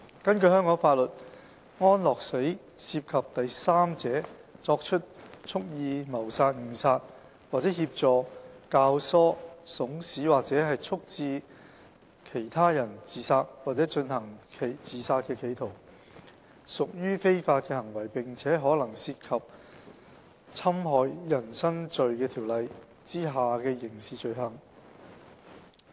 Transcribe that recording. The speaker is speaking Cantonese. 根據香港法律，安樂死涉及第三者作出蓄意謀殺、誤殺，或協助、教唆、慫使或促致他人自殺或進行自殺企圖，屬非法行為並可能涉及《侵害人身罪條例》下的刑事罪行。